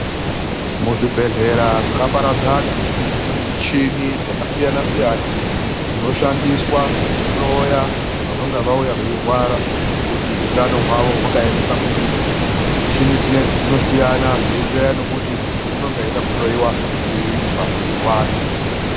Muzvibhedhlera zvakaparadzana mune michini dzakasiyana siyana dzinoshandiswa kuhloya vanonga vauya veirwara kuti utano hwawo wakaemesa kudini .Michini dzinedzi dzinosiyana zveienderana nekuti muntu unonga achida kuhloiwa chiini pamuwiri wake.